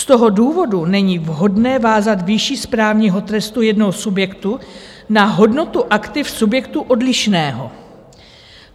Z toho důvodu není vhodné vázat výši správního trestu jednoho subjektu na hodnotu aktiv subjektu odlišného.